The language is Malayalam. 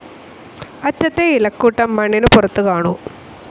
അറ്റത്തെ ഇലക്കൂട്ടം മണ്ണിനു പുറത്തുകാണൂ.